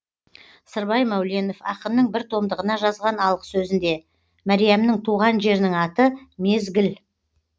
сырбай мәуленов ақынның бір томдығына жазған алғы сөзінде мәриямның туған жерінің аты мезгіл